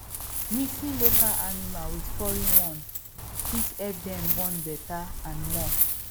mixing local animal with foreign one fit help them born better and more